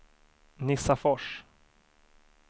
Nissafors